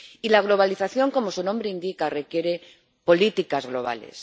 Y la globalización, como su nombre indica, requiere políticas globales.